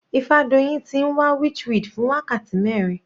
Ifadoyin ti ń wá witchweed fún wákàtí mẹrin.